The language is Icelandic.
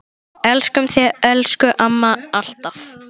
Elskum þig, elsku amma, alltaf.